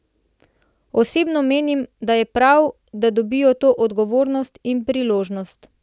Osebno menim, da je prav, da dobijo to odgovornost in priložnost.